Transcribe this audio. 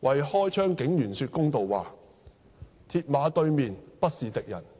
為"為開槍警員說公道話"、"鐵馬對面，不是敵人"等的文章。